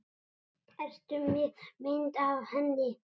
Ertu með mynd af henni?